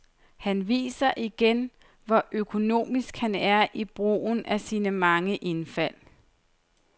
Han viser igen, hvor økonomisk han er i brugen af sine mange indfald.